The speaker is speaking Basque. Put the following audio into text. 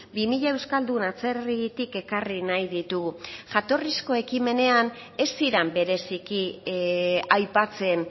bi mila euskaldun atzerritik ekarri nahi ditugu jatorrizko ekimenean ez ziren bereziki aipatzen